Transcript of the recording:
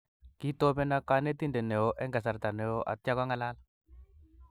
Kitobeno kanetindet neo eng kasarta neo atia kong'alal